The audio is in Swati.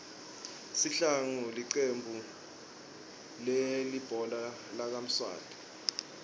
sihlangu licembu lihbhola lakamswati